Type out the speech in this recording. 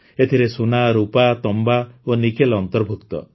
ଏଥିରେ ସୁନା ରୁପା ତମ୍ବା ଓ ନିକେଲ୍ ଅନ୍ତର୍ଭୁକ୍ତ